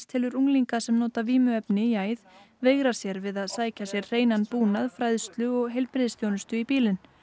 telur unglinga sem nota vímuefni í æð veigra sér við að sækja sér hreinan búnað fræðslu og heilbrigðisþjónustu í bílinn